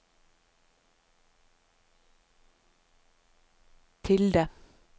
tilde